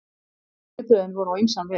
Viðbrögðin voru á ýmsan veg.